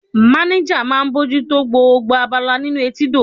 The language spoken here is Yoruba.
Manager máà ń bójú tó gbogbo abala nínú etídò.